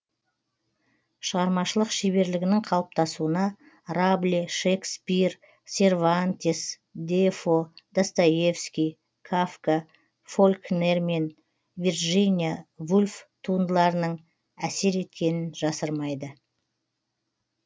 шығармашылық шеберлігінің қалыптасуына рабле шекспир сервантес дефо достоевский кафка фолькнер мен вирджиния вульф туындыларының әсер еткенін жасырмайды